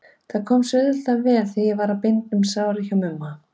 Það kom sér auðvitað vel þegar ég var að binda um sárin hjá Mumma.